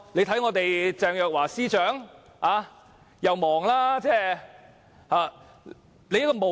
大家看鄭若驊司長，她十分忙碌。